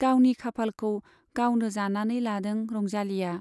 गावनि खाफालखौ गावनो जानानै लादों रंजालीया।